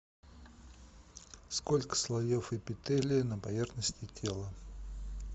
сколько слоев эпителия на поверхности тела